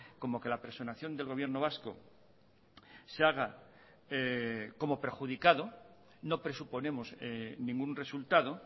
como que la personación del gobierno vasco se haga como perjudicado no presuponemos ningún resultado